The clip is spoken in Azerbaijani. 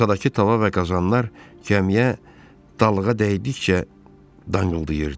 Masadakı tava və qazanlar gəmiyə dalğa dəydikcə dangıldayırdı.